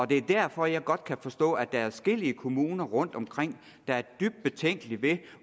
det er derfor jeg godt kan forstå at der er adskillige kommuner rundtomkring der er dybt betænkelige ved